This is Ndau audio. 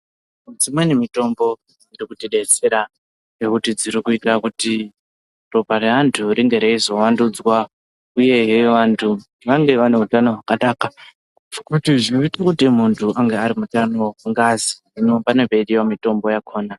Dzimweni mutombo dzvinotidetsera ngekuti dzirikuita kuti ropa reantu ringe reizowandudzwa uyehe wantu vange vane utano wakanaka ngekuti munti ava ari mutano gaziino panenge peidiwa mitombo yakona.